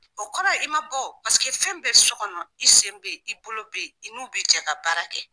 O kɔrɔ ye i ma bɔ wo. Paseke fɛn bɛ so kɔnɔ i sen be yen i bolo be yen i n'u bi jɛ ka baara kɛ.